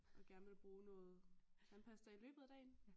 Og gerne vil bruge noget tandpasta i løbet af dagen